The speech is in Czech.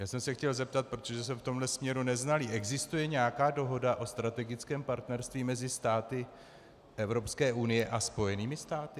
Já jsem se chtěl zeptat, protože jsem v tomto směru neznalý - existuje nějaká dohoda o strategickém partnerství mezi státy Evropské unie a Spojenými státy?